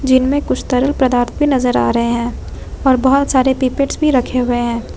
जिनमें कुछ तरल पदार्थ भी नजर आ रहे हैं और बहुत सारे पीपिट्स भी रखे हुए हैं।